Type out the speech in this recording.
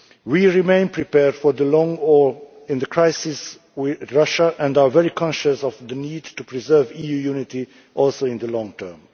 We remain prepared for the long haul in the crisis with Russia and are very conscious of the need to preserve EU unity also in the long term.